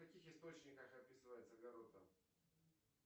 в каких источниках описывается гарутто